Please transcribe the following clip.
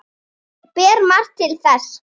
Ber margt til þess.